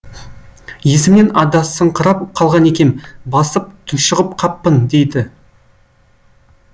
есімнен адасыңқырап қалған екем басып тұншығып қаппын дейді